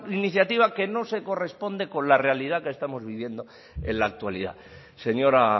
iniciativa que no se corresponde con la realidad que estamos viviendo en la actualidad señora